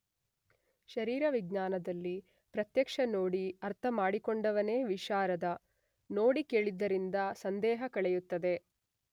ಶರೀರವಿಜ್ಞಾನದಲ್ಲಿ ಪ್ರತ್ಯಕ್ಷ ನೋಡಿ ಅರ್ಥ ಮಾಡಿಕೊಂಡವನೇ ವಿಶಾರದ, ನೋಡಿ ಕೇಳಿದ್ದರಿಂದ ಸಂದೇಹ ಕಳೆಯುತ್ತದೆ.